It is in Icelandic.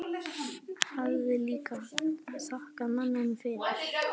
Ég hafði líka þakkað manninum fyrir.